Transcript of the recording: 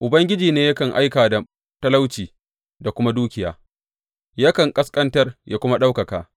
Ubangiji ne yakan aika da talauci da kuma dukiya; yakan ƙasƙantar yă kuma ɗaukaka.